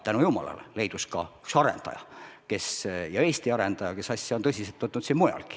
Tänu jumalale, leidus ka üks arendaja – Eesti arendaja, kes on siin mujalgi asja tõsiselt võtnud.